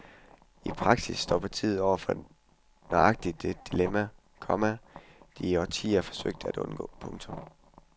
I praksis står partiet nu over for nøjagtigt det dilemma, komma de i årtier forsøgte at undgå. punktum